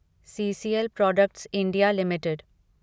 CCL products India limited